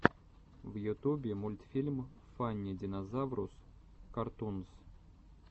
в ютубе мультфильм фанни динозаврус картунс